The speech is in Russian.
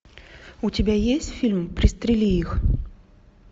у тебя есть фильм пристрели их